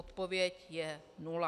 Odpověď je nula.